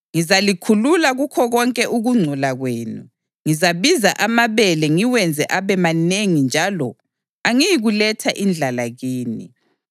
Ngizalikhulula kukho konke ukungcola kwenu. Ngizabiza amabele ngiwenze abe manengi njalo angiyikuletha indlala kini.